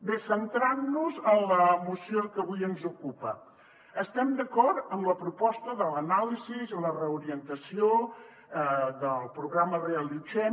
bé centrant nos en la moció que avui ens ocupa estem d’acord en la proposta de l’anàlisi i la reorientació del programa reallotgem